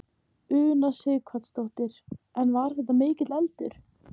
Una Sighvatsdóttir: En var þetta mikill eldur?